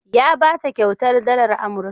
Ya ba ta kyautar dalar Amurka.